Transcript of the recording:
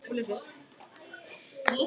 Ég nenni þessu ekki lengur.